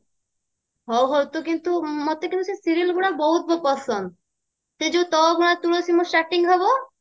ହଉ ହଉ ତୁ କିନ୍ତୁ ମତେ କିନ୍ତୁ ସେଇ serial ଗୁଡା ବହୁତ ପସନ୍ଦ ସେ ଯୋଉ ତୋ ଅଗଣା ତୁଳସୀ ମୁଁ starting ହବ